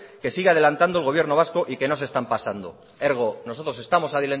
que sigue adelantando el gobierno vasco y que no se están pasando nosotros estamos